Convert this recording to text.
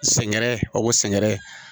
Sɛŋɛrɛ o ko sɛngɛrɛ